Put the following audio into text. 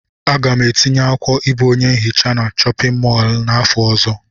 Aga m etinye akwụkwọ ịbụ onye nhicha na chọpịn mọọlụ n'afọ ọzọ.